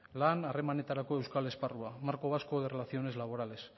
lan harremanetarako euskal lan esparrua marco vasco de relaciones laborales